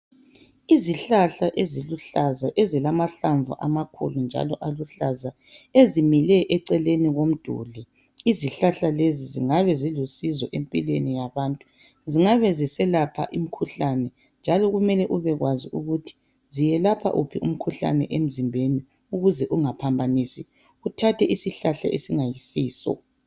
Izihlahla eziluhlaza ezilamahlamvu amakhulu njalo aluhlaza, ezimile eceleni komduli. Izihlahla lezi zingabe zilusizo empilweni yabantu. Zingabe ziselapha imkhuhlane njalo kumele ubekwazi ukuthi ziyelapha yiphi imkhuhlane esemzimbeni ukuze ungaphambanisi uthathe isihlahla esingayisiso.